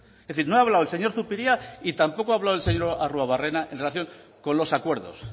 es decir no he hablado el señor zupiria y tampoco ha hablado el señor arruabarrena en relación con los acuerdo